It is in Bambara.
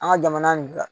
An ka jamana nin da